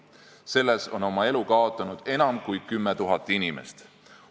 Selles on oma elu kaotanud enam kui 10 000 inimest.